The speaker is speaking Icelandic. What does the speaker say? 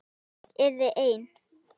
Ég yrði ein.